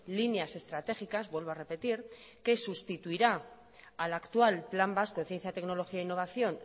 líneas estratégicas vuelvo a repetir que sustituirá al actual plan vasco de ciencia tecnología e innovación